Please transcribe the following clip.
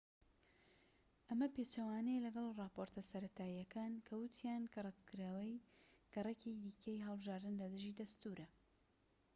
ئەمە پێچەوانەیە لەگەڵ ڕاپۆرتە سەرەتاییەکان کە ووتیان کە ڕەتکردنەوەی گەڕێکی دیکەی هەڵبژاردن لە دژی دەستوورە